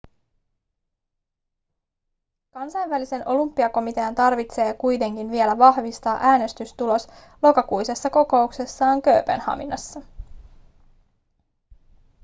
kansainvälisen olympiakomitean tarvitsee kuitenkin vielä vahvistaa äänestystulos lokakuisessa kokouksessaan kööpenhaminassa